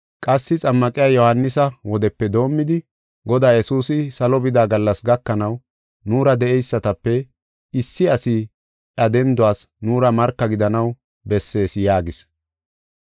qassi Xammaqiya Yohaanisa wodepe doomidi Godaa Yesuusi salo bida gallas gakanaw nuura de7eysatape issi asi iya denduwas nuura marka gidanaw bessees” yaagis.